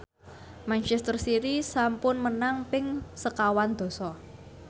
manchester city sampun menang ping sekawan dasa